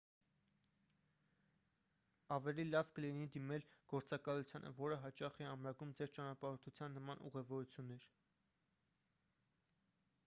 ավելի լավ կլինի դիմել գործակալությանը որը հաճախ է ամրագրում ձեր ճանապարհորդության նման ուղևորություններ